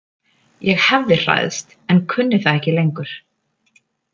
Ég hefði hræðst en kunni það ekki lengur.